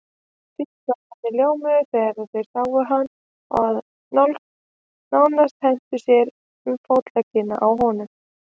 Tískuálfarnir ljómuðu þegar þeir sáum hann og nánast hentu sér um fótleggina á honum.